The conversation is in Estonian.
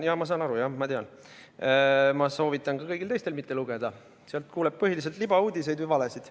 Ja soovitan ka kõigil teistel mitte lugeda, sealt kuuleb põhiliselt libauudiseid või valesid.